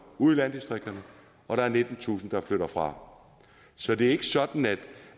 ud i landdistrikterne og der er nittentusind der flytter fra så det er ikke sådan